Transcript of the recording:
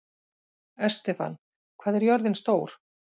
Estefan, hvað er jörðin stór?